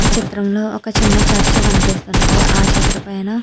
ఈ దృశ్యం లో ఒక చిన్న చర్చి కనిపిస్తున్నది. ఆ చర్చి పైన --